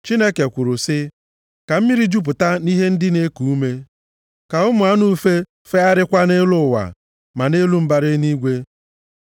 Chineke kwuru sị, “Ka mmiri jupụta nʼihe ndị na-eku ume, ka ụmụ anụ ufe fegharịkwa nʼelu ụwa, ma nʼelu mbara igwe.”